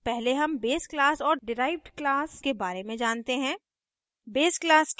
पहले हम base class और डिराइव्ड class के बारे में जानते हैं